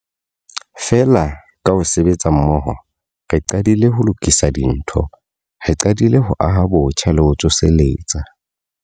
Feela, ka ho sebetsa mmoho, re qadile ho lokisa dintho. Re qadile ho aha botjha le ho tsoseletsa.